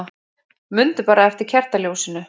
Mundu bara eftir kertaljósinu.